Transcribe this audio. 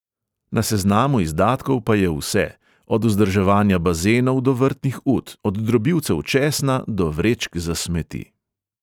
Na seznamu izdatkov pa je vse; od vzdrževanja bazenov do vrtnih ut, od drobilcev česna do vrečk za smeti.